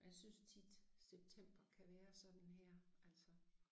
Og jeg synes tit september kan være sådan her altså